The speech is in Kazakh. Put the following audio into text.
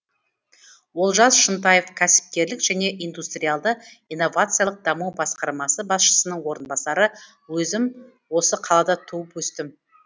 олжас шынтаев кәсіпкерлік және индустриалды инновациялық даму басқармасы басшысының орынбасары өзім осы қалада туып өстім